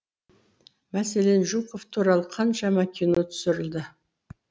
мәселен жуков туралы қаншама кино түсірілді